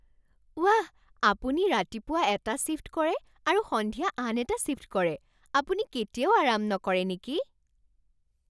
ৱাহ! আপুনি ৰাতিপুৱা এটা শ্বিফ্ট কৰে আৰু সন্ধিয়া আন এটা শ্বিফ্ট কৰে! আপুনি কেতিয়াও আৰাম নকৰে নেকি?